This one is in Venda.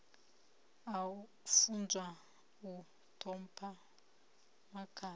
a funzwa u ṱhompha makhadzi